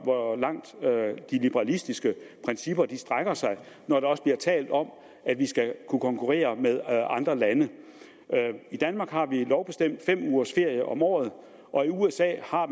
hvor langt de liberalistiske principper strækker sig når der også bliver talt om at vi skal kunne konkurrere med andre lande i danmark har vi lovbestemt fem ugers ferie om året og i usa har